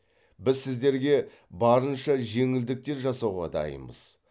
біз сіздерге барынша жеңілдіктер жасауға дайынбыз